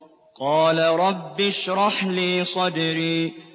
قَالَ رَبِّ اشْرَحْ لِي صَدْرِي